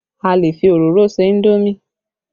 A lè fi òróró se indomi